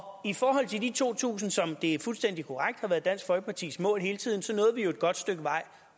i forhold til de to tusind som det er fuldstændig korrekt har været dansk folkepartis mål hele tiden så nåede vi jo et godt stykke vej